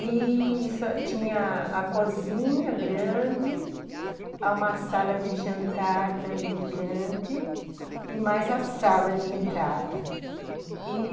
E...só tinha a cozinha grande, uma sala de jantar também grande, e mais a sala de entrada.